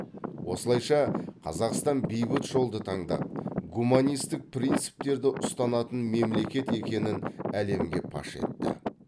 осылайша қазақстан бейбіт жолды таңдап гуманистік принциптерді ұстанатын мемлекет екенін әлемге паш етті